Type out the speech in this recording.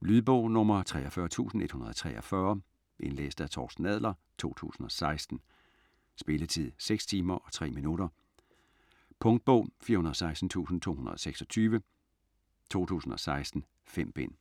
Lydbog 43143 Indlæst af Torsten Adler, 2016. Spilletid: 6 timer, 3 minutter. Punktbog 416226 2016. 5 bind.